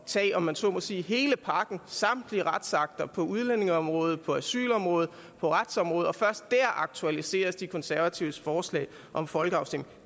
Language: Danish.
tage om man så må sige hele pakken samtlige retsakter på udlændingeområdet på asylområdet på retsområdet først der aktualiseres de konservatives forslag om folkeafstemning